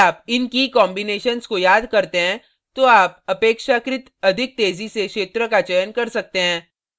यदि आप इन की key combinations को याद करते हैं तो आप अपेक्षाकृत अधिक तेजी से क्षेत्र का चयन कर सकते हैं